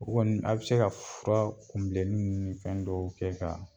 O kɔni a bi se ka fura kunbilenin ɲini fɛn dɔw kɛ ka